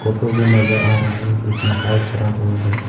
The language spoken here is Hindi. होगी नजर आ रहा है जिसमें हल चरा हुआ है।